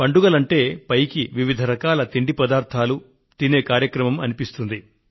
పండుగలంటే పైకి వివిధ రకాల భోజ్య పదార్థాలను ఆరగించే కార్యక్రమం అనిపిస్తుంది